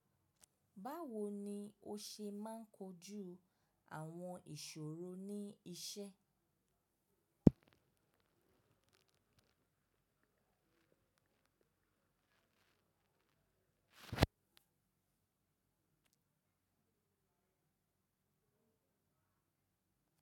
Báwo ni o ṣe máa ń kojú àwọn ìṣòro ní iṣẹ́?